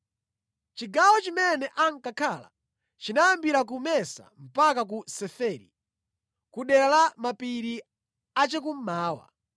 Chigawo chimene ankakhala chinayambira ku Mesa mpaka ku Seferi, ku dera la mapiri chakummawa.